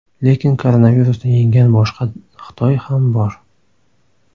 Lekin koronavirusni yenggan boshqa Xitoy ham bor.